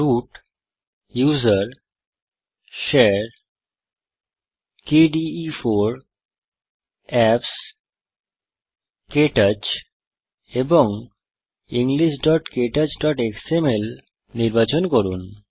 root GT usr GT share GT kde4 GT apps GT KTouch এবং englishktouchএক্সএমএল নির্বাচন করুন